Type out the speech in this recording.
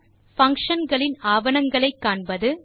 function களின் ஆவணங்களை காண்பது 6